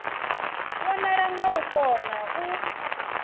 vhonala nga u kona u